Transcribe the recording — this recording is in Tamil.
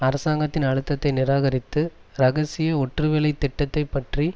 அரசாங்கத்தின் அழுத்தத்தை நிராகரித்து இரகசிய ஒற்றுவேலைத் திட்டத்தை பற்றி